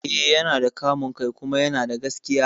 Eh, yana da kamun kai kuma yana da gaskiya